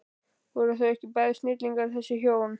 Voru þau ekki bæði snillingar þessi hjón?